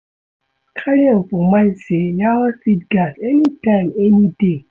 Carry am for mind sey yawa fit gas anytime any day